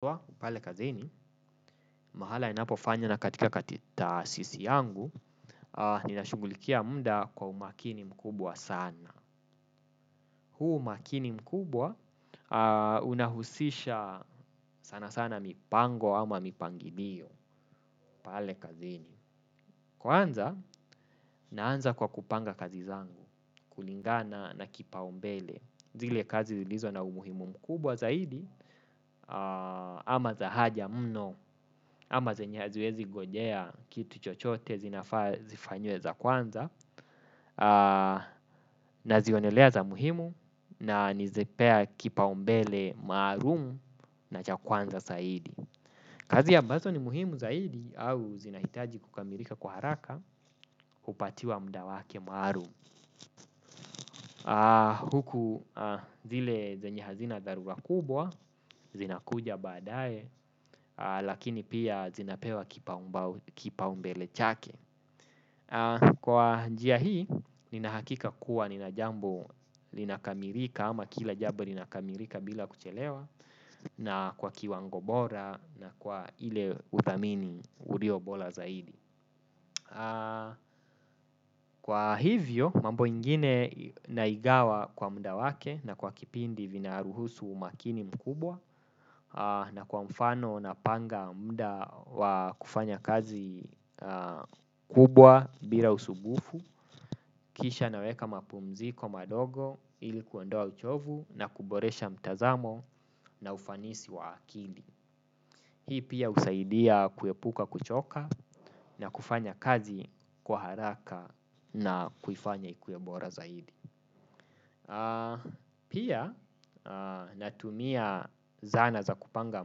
Kwa, pale kazini, mahala ninapofanya na katika taasisi yangu, ninashugulikia muda kwa umakini mkubwa sana. Huu umakini mkubwa, unahusisha sana sana mipango ama mipangilio, pale kazini. Kwanza, naanza kwa kupanga kazi zangu, kulingana na kipa umbele. Zile kazi zilizo na umuhimu mkubwa zaidi ama za haja mno ama zenye haziwezi ngojea kitu chochote zinafaa zifanywe za kwanza nazionelea za muhimu na nizipea kipa umbele maarumu na cha kwanza zaidi. Kazi ambazo ni muhimu zaidi au zinahitaji kukamilika kwa haraka hupatiwa muda wake maarum. Huku zile zenye hazina daruga kubwa, zinakuja baadae, lakini pia zinapewa kipa umbele chake. Kwa njia hii, ninahakika kuwa ninajambo linakamilika ama kila jambu linakamilika bila kuchelewa. Na kwa kiwango bora na kwa ile uthamini ulio bola zaidi. Kwa hivyo, mambo ingine naigawa kwa muda wake na kwa kipindi vinaruhusu umakini mkubwa. Na kwa mfano napanga muda wa kufanya kazi kubwa bila usubufu. Kisha naweka mapumziko madogo ili kuondoa uchovu na kuboresha mtazamo na ufanisi wa akili. Hii pia usaidia kuepuka kuchoka na kufanya kazi kwa haraka na kufanya ikuwe bora zaidi. Pia natumia zana za kupanga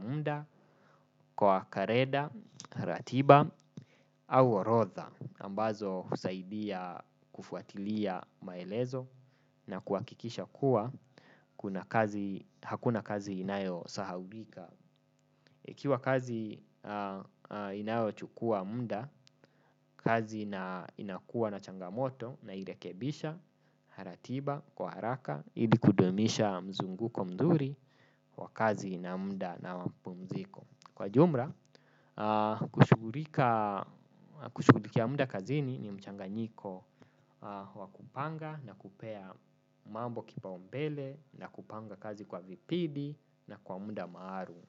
muda kwa kareda, ratiba au arodha ambazo usaidia kufuatilia maelezo na kuakikisha kuwa hakuna kazi inayo sahaulika. Ikiwa kazi inayo chukua muda kazi inakuwa na changamoto nairekebisha, ratiba, kwa haraka ili kudumisha mzunguko mzuri wa kazi na muda na mapumziko. Kwa jumla, kushuguliki ya muda kazini ni mchanganyiko wa kupanga na kupea mambo kipa umbele na kupanga kazi kwa vipidi na kwa muda maarum.